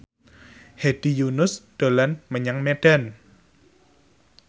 Hedi Yunus dolan menyang Medan